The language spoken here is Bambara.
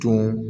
Tɔn